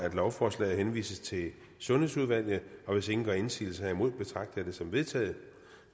at lovforslaget henvises til sundhedsudvalget og hvis ingen gør indsigelse herimod betragter jeg det som vedtaget